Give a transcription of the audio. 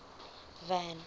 van